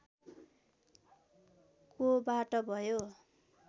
कोबाट भयो